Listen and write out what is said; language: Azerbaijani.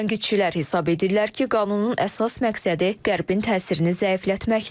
Tənqidçilər hesab edirlər ki, qanunun əsas məqsədi Qərbin təsirini zəiflətməkdir.